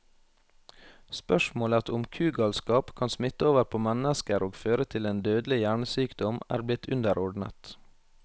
Spørsmålet om kugalskap kan smitte over på mennesker og føre til en dødelig hjernesykdom, er blitt underordnet.